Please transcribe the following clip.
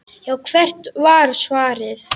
Já, hvert var svarið?